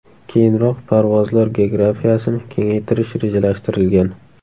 Keyinroq parvozlar geografiyasini kengaytirish rejalashtirilgan.